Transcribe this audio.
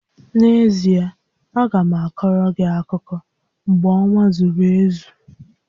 N'ezie, a ga m akoro gị akụkọ mgbe ọnwa zuru ezu